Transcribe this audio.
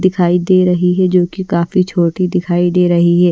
दिखाई दे रही हैजो कि काफी छोटी दिखाई दे रही है।